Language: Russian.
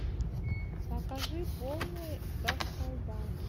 покажи полный расколбас